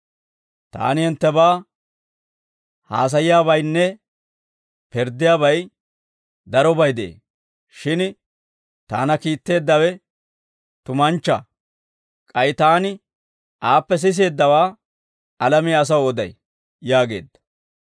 Taani hinttebaa haasayiyaabaynne pirddiyaabay darobay de'ee. Shin Taana kiitteeddawe tumanchchaa; k'ay Taani aappe siseeddawaa alamiyaa asaw oday» yaageedda.